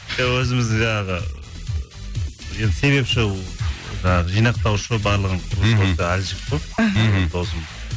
і өзіміз жаңағы енді себепші жаңағы жинақтаушы барлығын мхм осы әлжік қой мхм досым